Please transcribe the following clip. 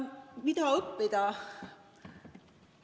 Mida õppida?